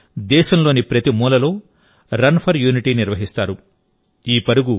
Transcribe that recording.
ఈ రోజున దేశంలోని ప్రతి మూలలో రన్ ఫర్ యూనిటీ నిర్వహిస్తారు